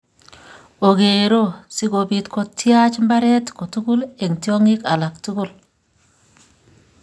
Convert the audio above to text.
Ogeero, si kobiit kotyaach mbareet kotugul eng' tyong'ik alak tugul.